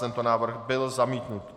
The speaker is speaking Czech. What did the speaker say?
Tento návrh byl zamítnut.